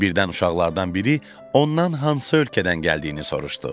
Birdən uşaqlardan biri ondan hansı ölkədən gəldiyini soruşdu.